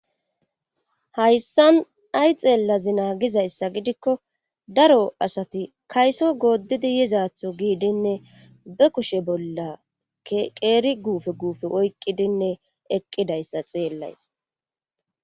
Hayssan ay xeellazinaa gizayssa gidikko daro asati kayso gooddidi yizatho giidinne be kushe bolla qeeri guufe guufe oyqqidinne eqqidayssa xeellays.